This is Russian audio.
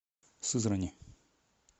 сызрани